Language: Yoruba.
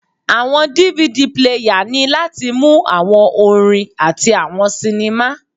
Awọn DVD player ni lati mu awọn orin ati awọn sinima